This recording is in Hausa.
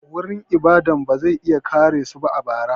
Wurin ibadan ba zai iya kare su a bara.